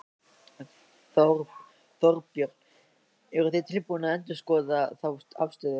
Þorbjörn: Eruð þið tilbúnir að endurskoða þá afstöðu?